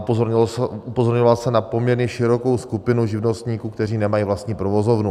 Upozorňoval jsem na poměrně širokou skupinu živnostníků, kteří nemají vlastní provozovnu.